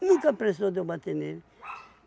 Nunca precisou de eu bater nele.